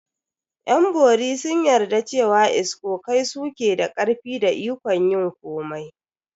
Yan bori sun yarda cewa iskokai su ke da karfi da ikon yin komai.